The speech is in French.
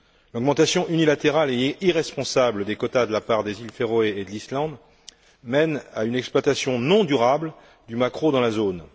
L'augmentation unilatérale et irresponsable des quotas de la part des Îles Féroé et de l'Islande mène à une exploitation non durable du maquereau dans la zone.